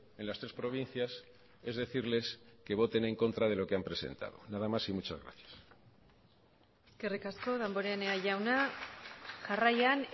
en las tres provincias es decirles que voten en contra de lo que han presentado nada más y muchas gracias eskerrik asko damborenea jauna jarraian